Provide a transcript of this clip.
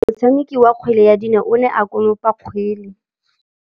Motshameki wa kgwele ya dinaô o ne a konopa kgwele.